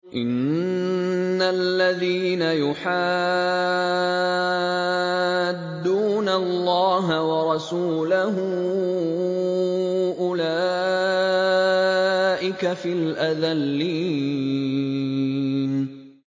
إِنَّ الَّذِينَ يُحَادُّونَ اللَّهَ وَرَسُولَهُ أُولَٰئِكَ فِي الْأَذَلِّينَ